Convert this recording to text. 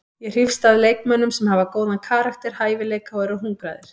Ég hrífst að leikmönnum sem hafa góðan karakter, hæfileika og eru hungraðir.